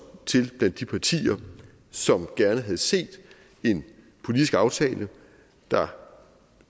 til blandt de partier som gerne havde set en politisk aftale der